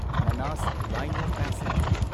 ꯃꯅꯥꯁ ꯔꯥꯢꯅꯣ ꯄꯦꯁꯦꯟꯖꯔ